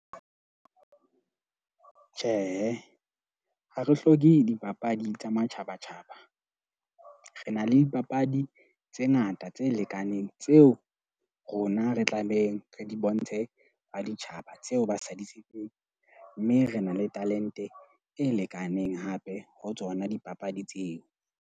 Tjhe, ha re hloke dipapadi tsa matjhabatjhaba. Re na le dipapadi tse ngata tse lekaneng tseo rona re tlabeng re di bontshe a ditjhaba tseo ba sa di tsebeng. Mme re na le talente e lekaneng hape ho tsona dipapadi tseo.